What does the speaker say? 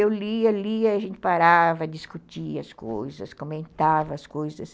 Eu lia, lia, a gente parava, discutia as coisas, comentava as coisas.